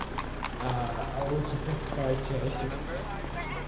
аа лучше поспать часик